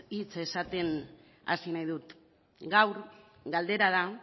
hitz esaten hasi nahi dut gaur galdera da